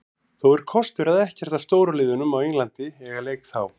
Þó er kostur að ekkert af stóru liðunum á Englandi eiga leik þá.